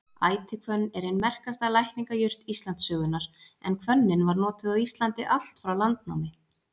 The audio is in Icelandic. Ætihvönn er ein merkasta lækningajurt Íslandssögunnar en hvönnin var notuð á Íslandi allt frá landnámi.